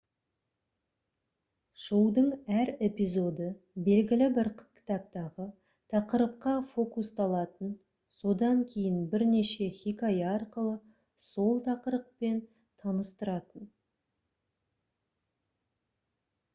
шоудың әр эпизоды белгілі бір кітаптағы тақырыпқа фокусталатын содан кейін бірнеше хикая арқылы сол тақырыппен таныстыратын